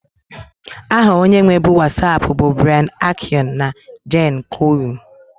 Aha onye nwebu Wasapu bu Brian Acion na Jan koum